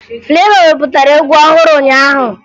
Flevọ wepụtara egwu ọhụrụ ụnyaahụ